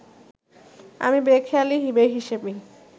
আমি বেখেয়ালি বেহিশেবি